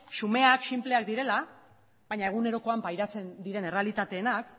xumeak eta sinpleak direla baina egunerokoan pairatzen diren errealitatearenak